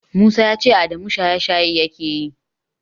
Musa ya ce Adamu shaye-shaye yake yi